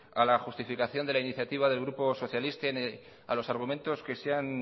a la justificación de la iniciativa del grupo socialista y a los argumentos que se han